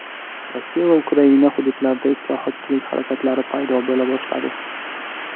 Rossiya va Ukraina hududlarida islohotchilik harakatlari paydo bo‘la boshladi.